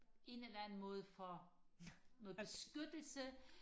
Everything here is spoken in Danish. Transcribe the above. en eller anden måde for noget beskyttelse